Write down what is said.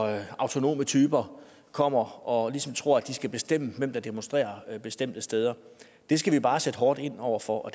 autonome typer kommer og ligesom tror at de skal bestemme hvem der demonstrerer bestemte steder det skal vi bare sætte hårdt ind over for